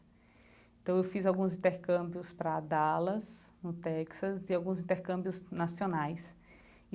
Então eu fiz alguns intercâmbios para Dallas, no Texas, e alguns intercâmbios nacionais.